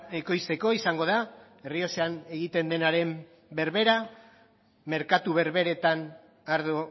ekoizteko izango da errioxan egiten denaren berbera merkatu berberetan ardo